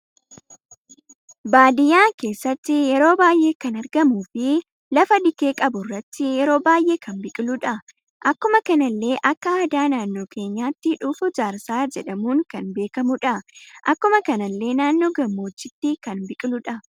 Baadiyyaa keessatti yeroo baay'ee kan argamu fi lafa dikee qabu irratti yeroo baay'ee kan biqiludha. Akkuma kanallee akka aadaa naannoo keenyatti dhuufuu jaarsaa jedhamuudhan kan beekamudha. Akkuma kanallee naannoo gammoojjitti kan biqiludha.